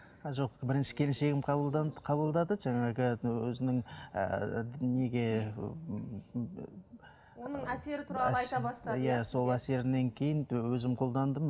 жоқ бірінші келіншегім қабылдады жаңағы өзінің ііі неге оның әсері туралы айта бастады иә сол әсерінен кейін өзім қолдандым